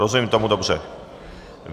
Rozumím tomu dobře?